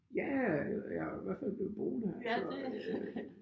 Ja jeg er i hvert fald blevet boende her så øh